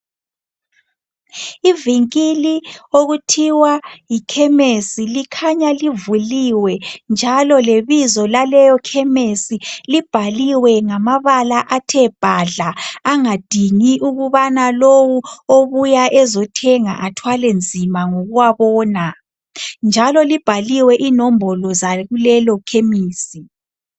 Ivinkili okuthiwa yikhemesi likhanya livuliwe . Njalo lebizo laleyo khemesi libhaliwe ngamabala athe bhadla .Angadingi ukubana lowu obuya ezothenga athwale nzima ngokuwabona .Njalo libhaliwe inombolo zakulelo khemisi.